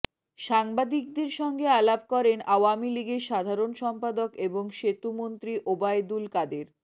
সাংবাদিকদের সঙ্গে আলাপ করেন আওয়ামী লীগের সাধারণ সম্পাদক এবং সেতুমন্ত্রী ওবায়দুল কাদের